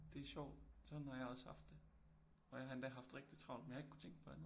Det er sjovt sådan har jeg også haft det og jeg har endda haft rigtig travt men jeg har ikke kunnet tænke på andet